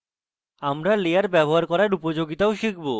আমরা লেয়ার ব্যবহার করার উপযোগিতাও শিখব